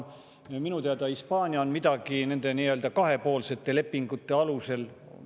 Minu teada Hispaanias on midagi nende kahepoolsete lepingute alusel.